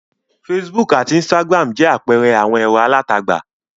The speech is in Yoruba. Facebook àti Instagram jẹ́ àpẹẹrẹ àwọn ẹ̀rọ alátagbà.